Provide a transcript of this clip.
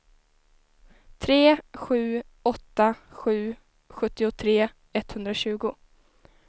tre sju åtta sju sjuttiotre etthundratjugo